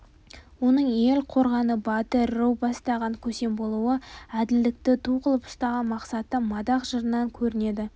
оның ел қорғаны батыр ру бастаған көсем болуы әділдікті ту қылып ұстаған мақсаты мадақ жырынан көрінеді